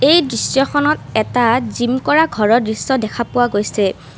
এই দৃশ্যখনত এটা জিম কৰা ঘৰৰ দৃশ্য দেখা পোৱা গৈছে।